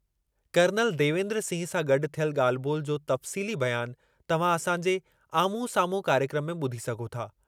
Colonel Devendra Singh सां गॾु थियल ॻाल्हि ॿोलि जो तफ़्सीली बयानु तव्हां असां जे आम्हूं साम्हूं कार्यक्र्मु में ॿुधी सघो था।